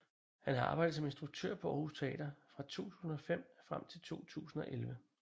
Han har arbejdet som instruktør på Aarhus Teater fra 2005 frem til 2011